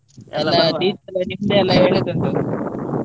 ಹೇಳಿಕ್ಕುಂಟು .